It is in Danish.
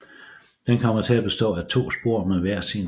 Den kommer til at bestå af to spor med hver sin perron